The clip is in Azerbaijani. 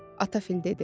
ata fil dedi.